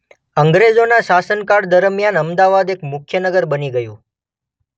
અંગ્રજોના શાસનકાળ દરમિયાન અમદાવાદ એક મુખ્ય નગર બની ગયું.